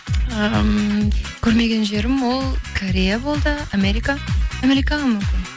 ыыы көрмеген жерім ол корея болды америка америкаға мүмкін